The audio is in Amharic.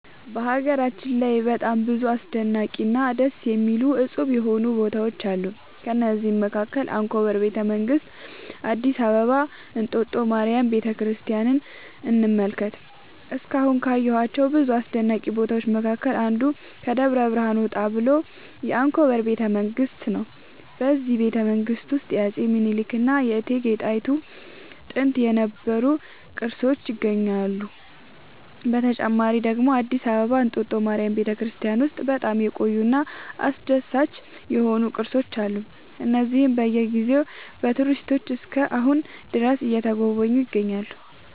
በሀገራችን ላይ በጣም ብዙ አስደናቂ እና ደስ የሚያሰኙ እፁብ የሆኑ ቦታዎች አሉ ከእነዚህም መካከል አንኮበር ቤተ መንግስት አዲስ አበባ እንጦጦ ማርያም ቤተክርስቲያንን እንመልከት እስካሁን ካየኋቸው ብዙ አስደናቂ ቦታዎች መካከል አንዱ ከደብረ ብርሃን ወጣ ብሎ አንኮበር ቤተ መንግስት ነው በዚህ ቤተመንግስት ውስጥ የአፄ ሚኒልክ እና የእቴጌ ጣይቱ ጥንት የነበሩ ቅርሶች ይገኙበታል። በተጨማሪ ደግሞ አዲስ አበባ እንጦጦ ማርያም ቤተክርስቲያን ውስጥ በጣም የቆዩ እና አስደሳች የሆኑ ቅርሶች አሉ እነዚህም በየ ጊዜው በቱሪስቶች እስከ አሁን ድረስ እየተጎበኙ ይገኛሉ